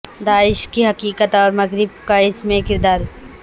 داعش کی حقیقت اور مغرب کا اس میں کردار